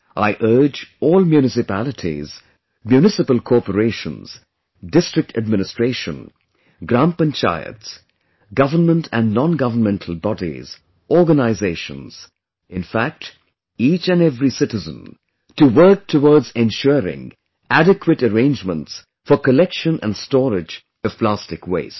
I urge all municipalities, municipal corporations, District Administration, Gram Panchayats, Government & non Governmental bodies, organizations; in fact each & every citizen to work towards ensuring adequate arrangement for collection & storage of plastic waste